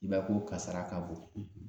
I b'a ye ko kasara ka bon